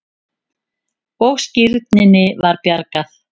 Og skírninni var bjargað.